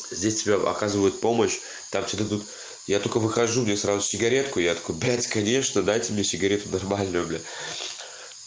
здесь тебе оказывают помощь так что ты тут я только выхожу мне сразу сигаретку я такой блядь конечно дайте мне сигарету нормально блядь